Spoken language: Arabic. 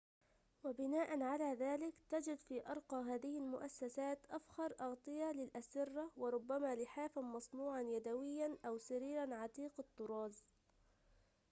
وبناءً على ذلك تجد في أرقى هذه المؤسّسات أفخر أغطية للأسرّة وربما لحافاً مصنوعاً يدويّاً أو سريراً عتيق الطّراز